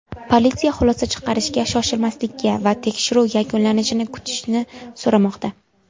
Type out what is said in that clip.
Politsiya xulosa chiqarishga shoshmaslikni va tekshiruv yakunlanishini kutishni so‘ramoqda.